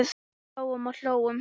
Hlógum og hlógum.